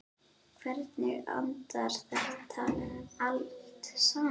Hvernig endar þetta allt saman?